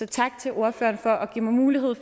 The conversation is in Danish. tak til ordføreren for at give mig mulighed